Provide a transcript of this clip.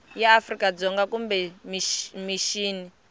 ya afrika dzonga kumbe mixini